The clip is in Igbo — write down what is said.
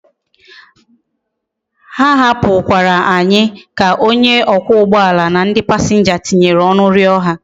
Ha hapu kwara anyi ka onye okwa ugboala na ndi passengers tinyere onu rio ha